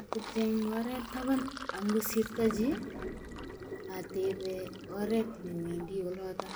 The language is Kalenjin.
Atepche eng oret taban angosirto chi, atebee oret newendi olotok